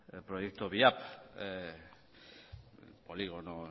proyecto viap polígono